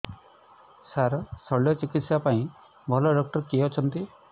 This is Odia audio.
ସାର ଶଲ୍ୟଚିକିତ୍ସା ପାଇଁ ଭଲ ଡକ୍ଟର କିଏ ଅଛନ୍ତି